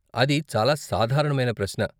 అది చాలా సాధారణమైన ప్రశ్న.